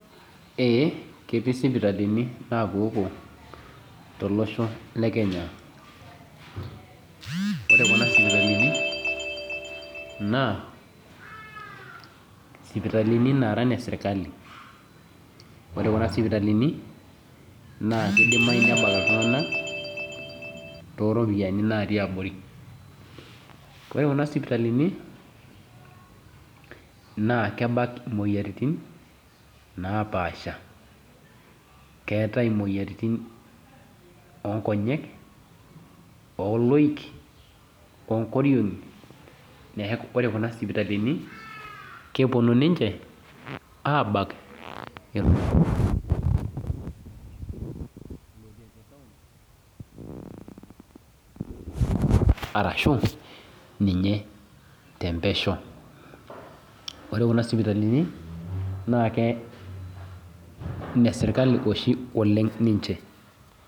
Ee ketii sipitalini napuopuo tolosho le Kenya. Ore kuna sipitalini naa sipitalini nara ne sirkali. Ore kuna sipitalini, naa kidimayu nebak iltung'anak, toropiyiani natii abori. Ore kuna sipitalini, naa kebak imoyiaritin, napaasha. Keetae imoyiaritin onkonyek, oloik, onkoriong'i, neeku ore kuna sipitalini, keponu ninche abak, arashu ninye tempesho. Ore kuna sipitalini, na ke ine sirkali oshi oleng ninche.